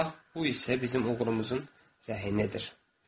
Bax, bu isə bizim oğlumuzun rəhinədir.